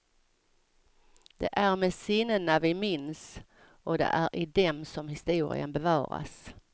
Det är med sinnena vi minns, och det är i dem som historien bevaras.